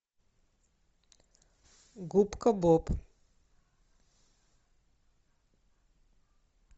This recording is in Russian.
губка боб